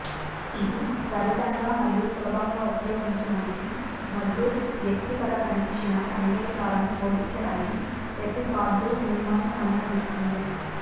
ఇది త్వరితంగా మరియు సులభంగా ఉపయోగించడానికి మరియు వ్యక్తిగతీకరించిన సందేశాలను జోడించడానికి ప్రతి కార్డు మిమ్మల్ని అనుమతిస్తుంది